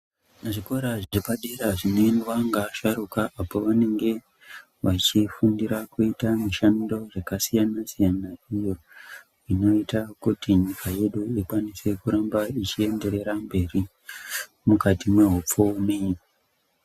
Muzvikora zvepadera zvinoendwa ngeasharukwa apo vanenge vachifundira kuita mushando yakasiyana-siyana, iyo inoita kuti nyika yedu ikwanise kuramba ichienderera mberi mukati mwehupfumi.